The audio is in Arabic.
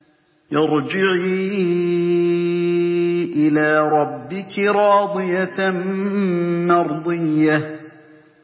ارْجِعِي إِلَىٰ رَبِّكِ رَاضِيَةً مَّرْضِيَّةً